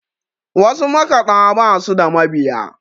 wasu makaɗa ba su da mabiya